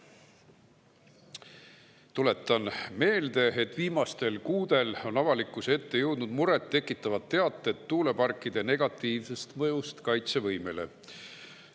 Tuletan meelde, et viimastel kuudel on avalikkuse ette jõudnud muret tekitavad teated tuuleparkide negatiivsest mõjust kaitsevõimele.